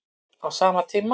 Á sama tíma